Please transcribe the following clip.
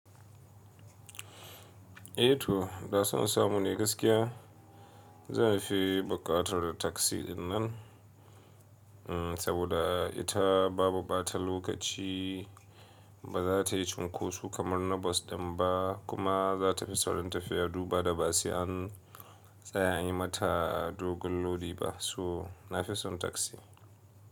Eh to, da sanin samu ne gaskiya. Zanfi bukatar da taksi dinnan, saboda ita babu bata lokaci, baza tayi cunkosu kamar na bas dan ba, kuma za ta fi saurin tafiya, duba da basu an tsaya yi mata dogon lodi ba. So nafison taksi.